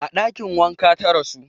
A ɗakin waƙa ta rasu